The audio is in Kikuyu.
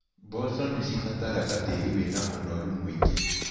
Mboco nĩcibataraga tĩri wĩna ũnoru mũingĩ.